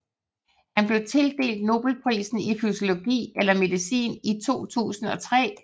Han blev tildelt Nobelprisen i fysiologi eller medicin i 2003